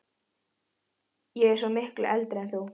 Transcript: Ég er svo miklu eldri en þú